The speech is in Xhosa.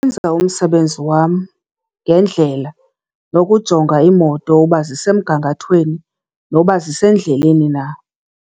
Umsebenzi wam ngendlela, nokujonga iimoto uba zisemgangathweni noba zisendleleni na.